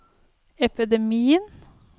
epidemien